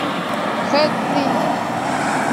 хэцзинь